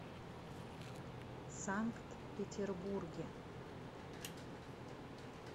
санкт петербурге